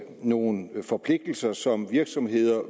nogle forpligtelser som virksomheder